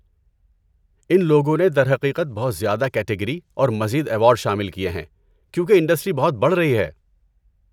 ان لوگوں نے درحقیقت بہت زیادہ کیٹیگری اور مزید ایوارڈ شامل کیے ہیں کیونکہ انڈسٹری بہت بڑھ رہی ہے۔